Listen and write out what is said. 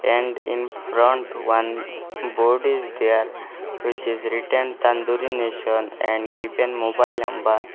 and in front one board is there which is written tandoori nation and given mobile number.